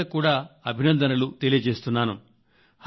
జెండా వందనానికి అవకాశం దక్కిన బాలికలకు కూడా అభినందనలు తెలియజేస్తున్నాను